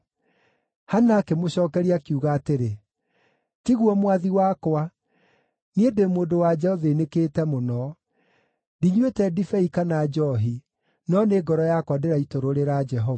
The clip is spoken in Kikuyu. Hana akĩmũcookeria, akiuga atĩrĩ, “Tiguo mwathi wakwa, niĩ ndĩ mũndũ-wa-nja ũthĩĩnĩkĩte mũno. Ndinyuĩte ndibei kana njoohi; no nĩ ngoro yakwa ndĩraitũrũrĩra Jehova.